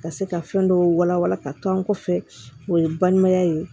Ka se ka fɛn dɔw wala wala ka to an kɔfɛ o ye balimaya ye